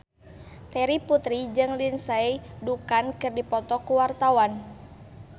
Terry Putri jeung Lindsay Ducan keur dipoto ku wartawan